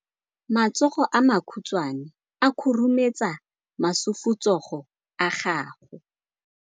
Matsogo a makhutshwane a khurumetsa masufutsogo a gago.